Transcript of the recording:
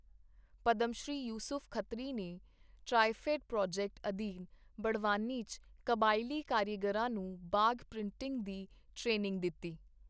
ਪਦਮਸ਼੍ਰੀ ਯੂਸੁਫ਼ ਖੱਤਰੀ ਨੇ TRIFED project ਅਧੀਨ ਬੜਵਾਨੀ ਚ ਕਬਾਇਲੀ ਕਾਰੀਗਰਾਂ ਨੂੰ ਬਾਗ਼ ਪ੍ਰਿੰਟਿੰਗ ਦੀ ਟ੍ਰੇਨਿੰਗ ਦਿੱਤੀ